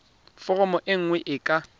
foromo e nngwe e ka